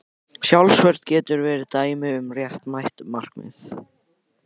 Sjálfsvörn getur verið dæmi um réttmætt markmið.